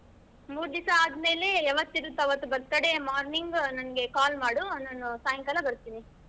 ಮೂರ್ ದಿವ್ಸ ಆದ್ಮೇಲೆ ಯಾವತ್ತ್ ಇರುತ್ತೆ ಆವತ್ತು birthday morning ನಂಗೆ call ಮಾಡು ನಾನು ಸಾಯಂಕಾಲ ಬರ್ತೀನಿ.